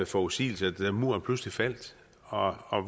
forudsigelser da muren pludselig faldt og og